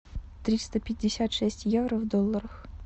триста пятьдесят шесть евро в долларах